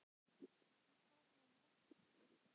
En hvað með vextina?